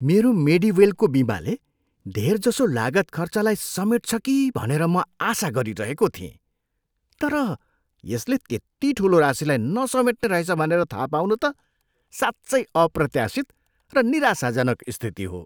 मेरो मेडिवेलको बिमाले धेरजसो लागत खर्चलाई समेट्छ कि भनेर म आशा गरिरहेको थिएँ। तर यसले त्यति ठुलो राशीलाई नसमेट्ने रहेछ भनेर थाहा पाउनु त साँच्चै अप्रत्यासित र निराशाजनक स्थिति हो।